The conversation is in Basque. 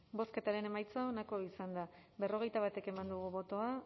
bozketaren emaitza onako izan da hirurogeita hamairu eman dugu bozka